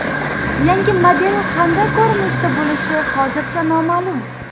Yangi model qanday ko‘rinishda bo‘lishi hozircha noma’lum.